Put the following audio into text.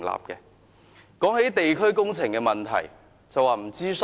談到地區工程的問題，他們又說沒有諮詢。